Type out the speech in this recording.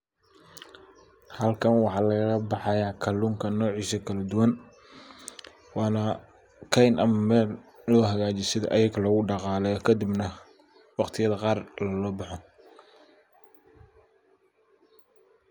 Halkan waxa lagala baxaya kallunka nocisa kaladuwan waana keyn ama meel ayaka lohagajiyo si ayaga logu dhaqaleyo ,kadibna waqtiyada qaar lagala baxo.